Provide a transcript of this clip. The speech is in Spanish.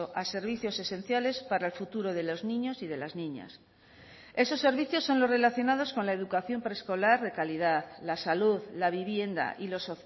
a servicios esenciales para el futuro de los niños y de las niñas esos servicios son los relacionados con la educación preescolar de calidad la salud la vivienda y los